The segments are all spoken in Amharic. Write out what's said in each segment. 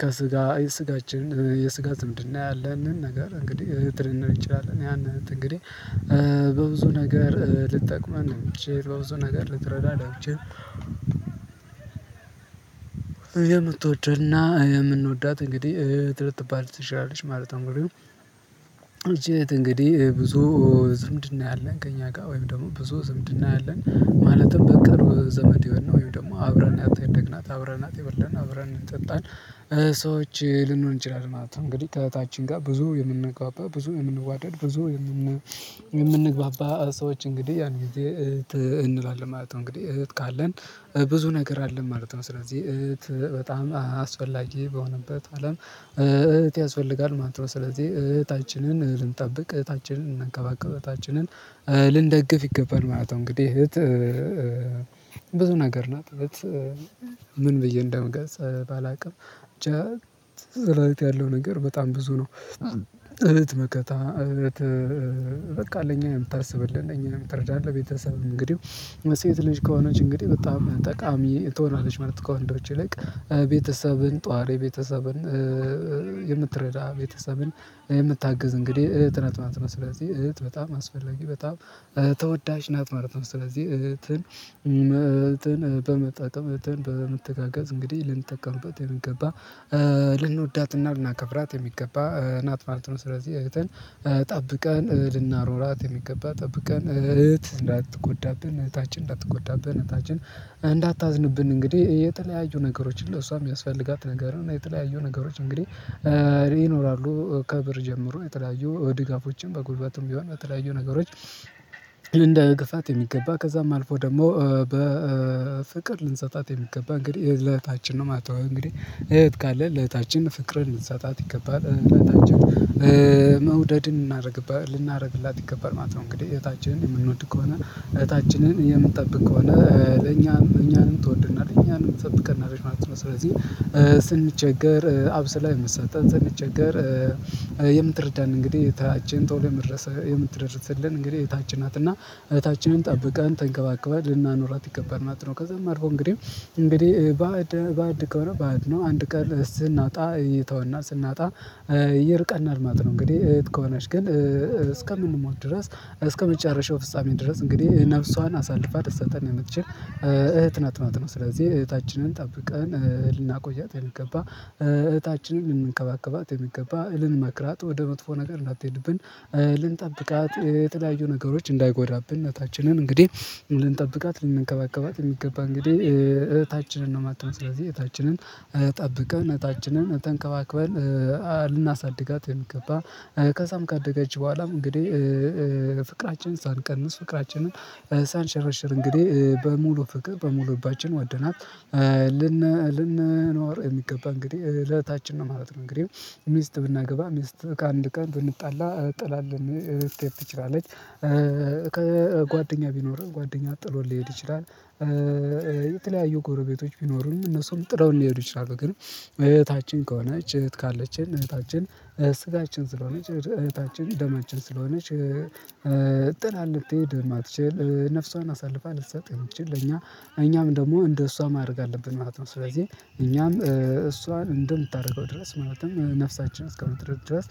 ከስጋ የስጋችን የስጋ ዝምድና ያለን ነገር እንግዲህ እህት ልንል እንችላልን። ያን እህት እንግዲህ በብዙ ነገር ልጠቅመን የምችል በብዙ ነገር ልትረዳ የምችል የምትወደውና የምንወዳት እንግዲህ እህት ልትባል ትችላለች ማለት ነው። እንግዲህ እቺ እህት እንግዲህ ብዙ ዝምድና ያለን ከእኛ ጋር ወይም ደግሞ ብዙ ዝምድና ያለን ማለትም በቅርብ ዘመዴ ወይም ደግሞ አብረን ያታደግናት አብረን አጤ በላን አብረን ጠጣን ሰዎች ልንሆን እንችላለን ማለት ነው። እንግዲህ ከእህታችን ጋር ብዙ የምንግባባ፣ ብዙ የምንዋደድ፣ ብዙ የምንግባባ ሰዎች እንግዲህ ያን ጊዜ እህት እንላለን ማለት ነው። እንግዲህ እህት ካለን ብዙ ነገር አለን ማለት ነው። ስለዚህ እህት በጣም አስፈላጊ በሆነበት አለም እህት ያስፈልጋል ማለት ነው። ስለዚህ እህታችንን ልንጠብቅ፣ እህታችንን እናንቀባቅብ፣ እህታችንን ልንደግፍ ይገባል ማለት ነው። እንግዲህ እህት ብዙ ነገር ናት እህት ምን ብዬ እንደሚገልጽ ባላውቅም ብቻ ያለው ነገር በጣም ብዙ ነው። እህት መከታ እህት በቃ ለእኛ የምታስብልን እኛ የምትረዳለህ ቤተሰብ እንግዲህ የሴት ልጅ ከሆነች እንግዲህ በጣም ጠቃሚ ትሆናለች ማለት ነው እንደውች ይልቅ። ቤተሰብን ጧሬ ቤተሰብን የምትረዳ ቤተሰብን የምታግዝ እንግዲህ እህት ናት ማለት ነው። ስለዚህ እህት በጣም አስፈላጊ በጣም ተወዳጅ ናት ማለት ነው። ስለዚህ እህትን በመጠን በመተጋገዝ እንግዲህ ልንጠቀምበት የምገባ ልንወዳትና ልናከብራት የሚገባ ናት ማለት ነው። ስለዚህ እህትን ጠብቀን ልናኖራት የሚገባ፣ ጠብቀን እህት እንዳትጎዳብን እህታችን እንዳትጎዳብን እህታችን እንግዲህ የተለያዩ ነገሮችን ለሷ የሚያስፈልጋት ነገር እና የተለያዩ ነገሮች እንግዲህ ይኖራሉ ከብር ጀምሮ የተለያዩ ድጋፎችን በጉልበትም ቢሆን በተለያዩ ነገሮች እንዳግፋት የሚገባ ከዛም አልፎ ደግሞ በፍቅር ልንሰጣት የሚገባ እንግዲህ ለእህታችን ነው። እንግዲህ እህት ካለን ለእህታችን ፍቅርን ልንሰጣት ይገባል። እናታችን መውደድን እናደርግብህ ልናደርግላት ይገባል ማለት ነው። እንግዲህ እህታችንን የምንወድ ከሆነ እህታችንን የምንጠብቅ ከሆነ ለኛም እኛንም ትወድናለች እኛም ጠብቀን አድርገን ማለት ነው። ስለዚህ ስንቸገር አብስላ የምትሳጥን ስንቸገር የምትረዳን እንግዲህ እህታችን ቶሎ የምትረስልን እንግዲህ እህታችን ናት እና እህታችንን ጠብቃን ተንከባከባን ልናኖራት ይገባል ማለት ነው። ከዛ መርሆ እንግዲህ እንግዲህ ባዕድ ባዕድ ከሆነ ባዕድ ነው። አንድ ቀን ስናጣ እየተወና ስናጣ ይርቀናል ማለት ነው። እንግዲህ እህት ከሆናች ግን እስከምንሞት ድረስ እስከመጨረሻው ፍጻሜ ድረስ እንግዲህ ነፍሷን አሳልፋ ትሰጠን የምትችል እህት ናት ማለት ነው። ስለዚህ እህታችንን ጠብቀን ልናቆያት የምንገባ፣ እህታችንን ልንከባከባት የሚገባ፣ እልን መክራት ወደ መጥፎ ነገር እንዳትሄድብን ልንጠብቃት የተለያዩ ነገሮች እንዳይጎዳብን እናታችንን እንግዲህ ልንጠብቃት ልንከባከባት የሚገባ እንግዲህ እህታችንን ነው ማለት ነው። ስለዚህ እህታችንን ጠብቀን እህታችንን ተንከባክበን ልናሳድጋት የሚገባ ከዛም ካደገች በኋላም እንግዲህ ፍቅራችንን ሳንቀንስ ፍቅራችንን ሳንሸረሽር እንግዲህ በሙሉ ፍቅር በሙሉ ልባችን ወደናት ልን ልንኖር የሚገባ እንግዲህ ለእህታችን ነው ማለት ነው። እንግዲህ ሚስት ብናገባ ሚስት ከአንድ ቀን ብንጣላ ጥላልን ልትሄድ ትችላለች። ከጓደኛ ቢኖርህ ጓደኛ ጥሎን ሊሄድ ይችላል። የተለያዩ ጎረቤቶች ቢኖሩም እነሱም ጥለውን ሊሄዱ ይችላሉ ግን እህታችን ከሆነች እህት ካለችን እህታችን ስጋችን ስለሆነች እህታችን ደማችን ስለሆነች ጥላን ልትሄድ ማትችል ነፍሷን አሳልፋ ልትሰጥ የምትችል እኛ እኛም ደግሞ እንደ እሷ ማድረግ አለብን ማለት ነው። ስለዚህ እኛም እሷን እንደምታደርገው ድረስ ማለትም ነፍሳችን እስከምትረድ ድረስ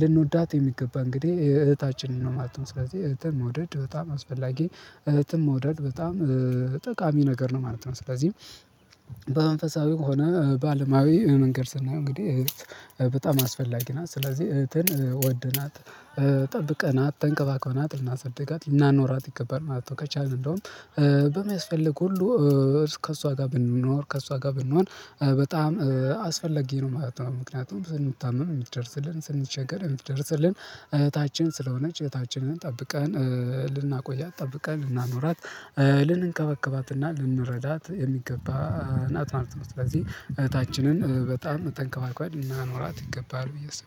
ልንወዳት የሚገባ እንግዲህ እህታችንን ነው ማለት ነው። ስለዚህ እህትን መውደድ በጣም አስፈላጊ እህትም መውደድ በጣም ጠቃሚ ነገር ነው ማለት ነው። ስለዚህ ከሆነ በአለማዊ መንገድ ስናየው እንግዲህ በጣም አስፈላጊ ናት። ስለዚህ እህትን ወደናት፣ ጠብቀናት፣ ተንከባክበናት ልናሳድጋት፣ ልናኖራት ይገባል ማለት ነው ከቻልን። እንደውም በሚያስፈልግ ሁሉ ከእሷ ጋር ብንኖር ከእሷ ጋር ብንሆን በጣም አስፈለጊ ነው ማለት ነው። ምክንያቱም ስንታመም የምትደርስልን ስንቸገር የምትደርስልን እህታችን ስለሆነ እህታችንን ጠብቀን ልናቆያት ጠብቀን ልናኖራት ልንከበከባትና ልንረዳት የሚገባ አናት ማለት ነው። ስለዚህ እህታችንን በጣም ተንከባክበን ልናኖራት ይገባል ብዬ አስባለሁ።